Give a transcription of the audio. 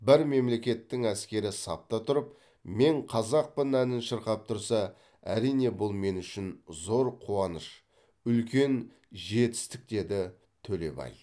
бір мемлекеттің әскері сапта тұрып мен қазақпын әнін шырқап тұрса әрине бұл мен үшін зор қуаныш үлкен жетістік деді төлебай